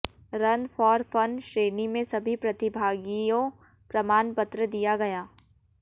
run for fun श्रेणी में सभी प्रतिभागियों प्रमाण पत्र दिया गया